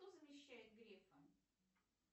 кто замещает грефа